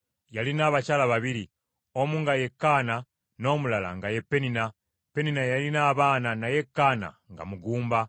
Yalina abakyala babiri, omu nga ye Kaana; n’omulala nga ye Penina. Penina yalina abaana, naye Kaana nga mugumba.